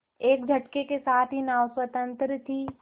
एक झटके के साथ ही नाव स्वतंत्र थी